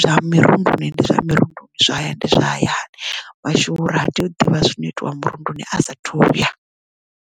zwa mirunduni ndi zwa mirundu zwahayani ndi zwa hayani mashuvhuru ha tei u ḓivha zwino itiwa murunduni a sa thuya.